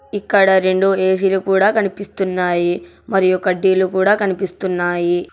ఇక్కడ రెండు ఏ_సీ లు కూడా కనిపిస్తున్నాయి మరియు కడ్డీలు కూడా కనిపిస్తున్నాయి.